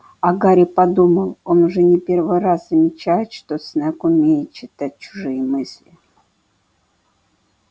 а гарри подумал он уже не первый раз замечает что снегг умеет читать чужие мысли